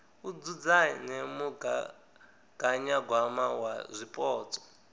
u dzudzanya mugaganyagwama wa zwipotso